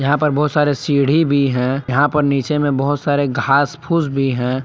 यहां पर बहुत सारे सीढ़ी भी हैं यहां पर नीचे में बहुत सारे घास फूस भी हैं।